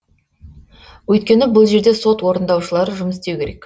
өйткені бұл жерде сот орындаушылары жұмыс істеу керек